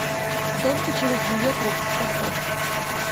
только через ее труп поставь